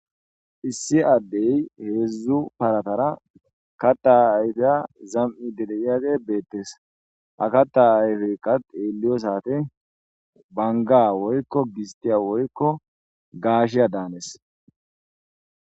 Issi adde hedzdzu paratara kata ayifiya zam,di de,yage betes ha kata ayifeka xeliyosate Banga/gistiya / gashiya danes.